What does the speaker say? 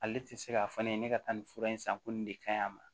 Ale ti se k'a fɔ ne ye ne ka taa nin fura in san ko nin de ka ɲi a ma